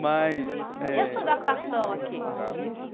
Mas eh... E a sua adaptação aqui?